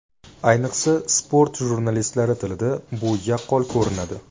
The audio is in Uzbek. Ayniqsa, sport jurnalistlari tilida bu yaqqol ko‘rinadi.